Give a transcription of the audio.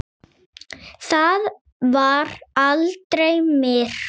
Það var aldrei myrkur.